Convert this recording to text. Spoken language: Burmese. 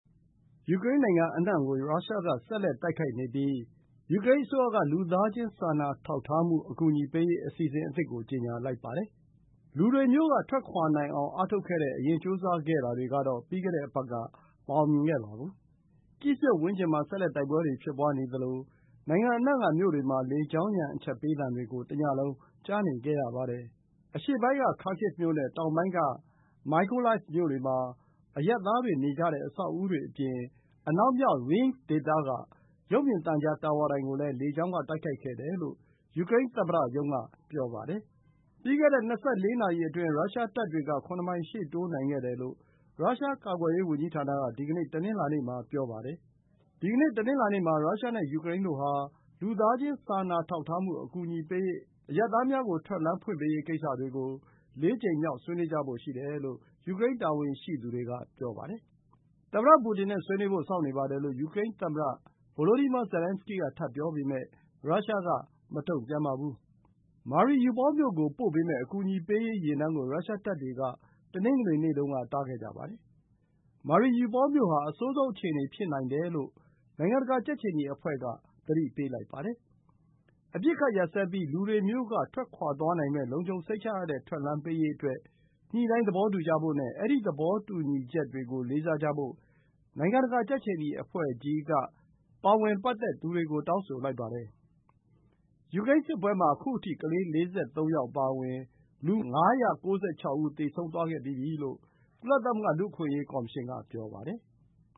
ယူကရိန်း နိုင်ငံအနှံ့မှာ ရုရှားက ဆက်လက် တိုက်ခိုက်နေပြီး ယူကရိန်း အစိုးရက လူသားချင်းစာနာထောက်ထားမှု အကူအညီပေးရေးအစီအစဉ်အသစ်ကို ကြေညာလိုက်ပါတယ်။ လူတွေ မြို့ကထွက်ခွါနိုင်အောင်အားထုတ်ခဲ့တဲ့ အရင် ကြိုးစားခဲ့တာတွေကတော့ ပြီးခဲ့တဲ့ အပတ်က မအောင်မြင်ခဲ့ပါဘူး။ ကိဗ်မြို့ ဝန်းကျင်မှာ တိုက်ပွဲတွေဆက်လက် ဖြစ်ပွါးနေသလို၊ နိုင်ငံအနှံ့က မြို့တွေမှာ လေကြောင်းရန် အချက်ပေးသံတွေ ကို တစ်ညလုံး ကြားနေခဲ့ရပါတယ်။ အရှေ့ပိုင်းက Kharkiv မြို့ နဲ့ တောင်ပိုင်း က Mykolaiv မြို့တွေမှာ အရပ်သားတေ နေကြတဲ့ အဆောက်အဦးတွေ အပြင်အနောက်မြောက် Rivne ဒေသက ရုပ်မြင်သံကြားတာဝါတိုင် ကိုလည်း လေကြောင်းက တိုက်ခိုက်ခဲ့တယ်လို့ ယူကရိန်း သမ္မတ ရုံး က ပြောပါတယ်။ ပြီးခဲ့တဲ့ ၂၄ နာရီအတွင်း ရုရှား တပ်တွေ က ၇ မိုင် ရှေ့တိုးနိုင်ခဲ့တယ်လို့ ရုရှား ကာကွယ်ရေး ဝန်ကြီးဌာန က ဒီနေ့ တနင်္လာနေ့ မှာ ပြောပါတယ်။ ဒီကနေ့ တနင်္လာနေ့ မှာ ရုရှား နဲ့ ယူကရိန်းတို့ ဟာ လူသားချင်း စာနာထောက်ထားမှု အကူအညီပေးရေး၊ အရပ်သားများ ကို ထွက်လမ်း ဖွင့်ပေးရေး ကိစ္စတွေ ကို ၄ ကြိမ်မြောက် ဆွေးနွေးကြဖို့ ရှိတယ်လို့ ယူကရိန်း တာဝန်ရှိသူတွေ က ပြောပါတယ်။ သမ္မတ ပူတင် နဲ့ ဆွေးနွေးဖို့ စောင့်နေပါတယ်လို့ ယူကရိန်း သမ္မတ Volodymyr Zelenskyy က ထပ်ပြောပေမဲ့ ရုရှား က မတုန့်ပြန်ပါဘူး။ Mariupol မြို့ ကို ပို့ပေးမယ့် အကူအညီပေးရေး ယာဉ်တန်းကို ရုရှားတပ်တွေ က တနင်္ဂနွေနေ့တုန်းက တားခဲ့ကြပါတယ်။ Mariupol မြို့ ဟာ အဆိုးဆုံး အခြေအနေ ဖြစ်နိုင်တယ်လို့ နိုင်ငံတကာ ကြက်ခြေနီ အဖွဲ့ က သတိပေးလိုက်ပါတယ်။ အပစ်အခတ် ရပ်စဲပြီး၊ လူတွေ မြို့ က ထွက်သွားနိုင်မယ့် လုံခြုံစိတ်ချရတဲ့ ထွက်လမ်းပေးရေးအတွက် ညှိနှိုင်းသဘောတူကြဖို့နဲ့ အဲဒီ သဘောတူညီချက်ကို လေးစားကြဖို့ နိုင်ငံတကာ ကြက်ခြေနီ အဖွဲ့ ကြီးက တောင်းဆိုလိုက်ပါတယ်။ ယူကရိန်း စစ်ပွဲမှာ ခုအထိကလေး ၄၃ ယောက်အပါအဝင်လူ ၅၉၆ ဦး သေဆုံးခဲ့ပြီးပြီလို့ ကုလသမဂ္ဂ လူ့အခွင့်အရေး ကော်မရှင်က ပြောပါတယ်။